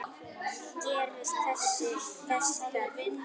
Gerist þess þörf.